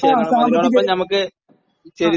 ങാ..സാമ്പത്തിക......ങാ...